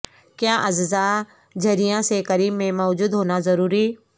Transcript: کیا اجزاء جھرریاں سے کریم میں موجود ہونا ضروری